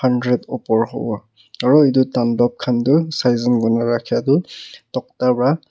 hundred opor hobo aro etu donlub khan tu sichen kurikena rahka tu togda para.